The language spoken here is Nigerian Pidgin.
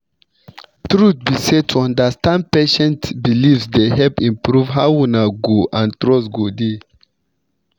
truth be say to understand patient beliefs dey help improve how una go and trust go dey